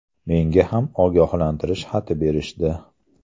Menga ham ogohlantirish xati berishdi.